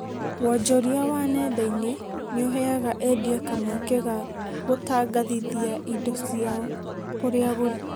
Wonjoria wa nenda-inĩ nĩũhaega endia kamweke ga gũtangathithia indo ciao kũrĩ agũri